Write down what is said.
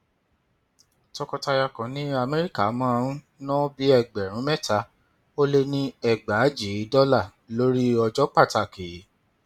tọkọtaya kan ní amẹríkà máa ń ná bí ẹgbẹrún mẹta ó lé ẹgbàajì dọlà lórí ọjọ pàtàkì